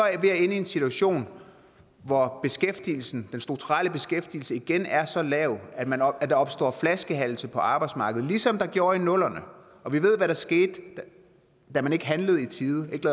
ved at ende i en situation hvor beskæftigelsen den strukturelle beskæftigelse igen er så lav at der opstår flaskehalse på arbejdsmarkedet ligesom der gjorde i nullerne og vi ved hvad der skete da man ikke handlede i tide ikke